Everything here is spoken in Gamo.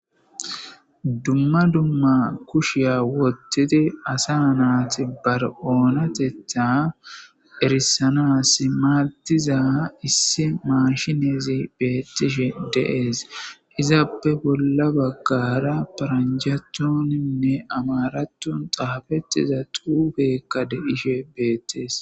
dumma dumma kushiya wottidi asa naati bar oonatetha erisanasi maadiza issi mashinezi beettishe dee'es izaappe bolla baggara paranjathoninne amarattun xaafettiza xuubeekka de'ishe beettees